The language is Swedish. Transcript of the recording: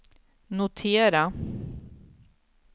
notera